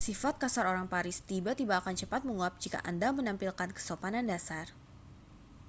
sifat kasar orang paris tiba-tiba akan cepat menguap jika anda menampilkan kesopanan dasar